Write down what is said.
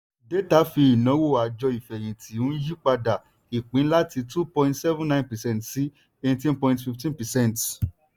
détà fi ìnáwó àjọ ìfẹ̀yìntì n yí padà ìpín láti two point seven nine percent sí eighteen point fifteen percent.